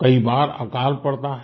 कई बार अकाल पड़ता है